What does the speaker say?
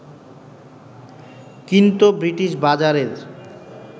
কিন্তু ব্রিটিশ বাজারের